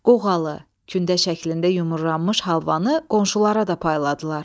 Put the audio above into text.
Qoğalı, kündə şəklində yumurlanmış halvanı qonşulara da payladılar.